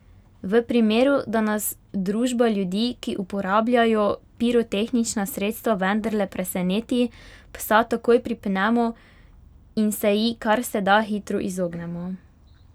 V primeru, da nas družba ljudi, ki uporabljajo pirotehnična sredstva vendarle preseneti, psa takoj pripnemo in se ji, kar se da hitro, izognemo.